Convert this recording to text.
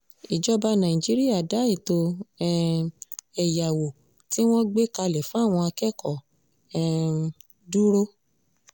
ìjọba nàìjíríà dá ètò um ẹ̀yáwó tí wọ́n gbé kalẹ̀ fáwọn akẹ́kọ̀ọ́ um dúró